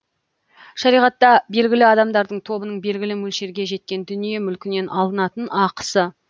шариғатта белгілі адамдардың тобының белгілі мөлшерге жеткен дүние мүлкінен алынатын ақысы